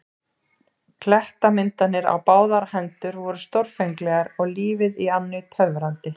Klettamyndanir á báðar hendur voru stórfenglegar og lífið í ánni töfrandi.